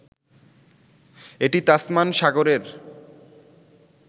এটি তাসমান সাগরের